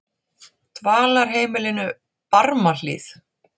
Dvalarheimilinu Barmahlíð